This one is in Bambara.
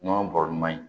Nɔnɔ bɔrɔman in